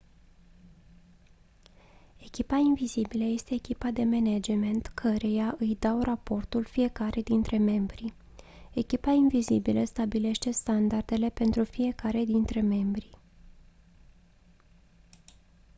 echipa invizibilă este echipa de management căreia îi dau raportul fiecare dintre membri echipa invizibilă stabilește standardele pentru fiecare dintre membri